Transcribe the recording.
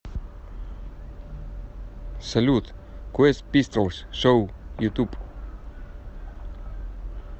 салют квест пистолс шоу ютуб